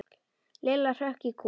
Lilla hrökk í kút.